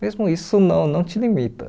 Mesmo isso não não te limita.